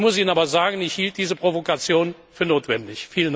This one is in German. Ich muss Ihnen aber sagen, ich hielt diese Provokation für notwendig.